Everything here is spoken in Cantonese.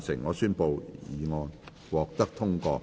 我宣布議案獲得通過。